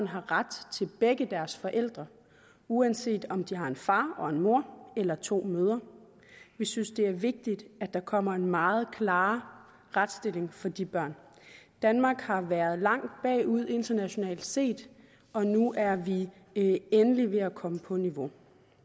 har ret til begge deres forældre uanset om de har en far og en mor eller to mødre vi synes det er vigtigt at der kommer en meget klarere retsstilling for de børn danmark har været langt bagud internationalt set og nu er vi endelig ved at komme på niveau